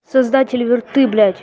создатель вирты блять